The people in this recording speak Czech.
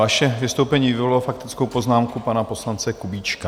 Vaše vystoupení vyvolalo faktickou poznámku pana poslance Kubíčka.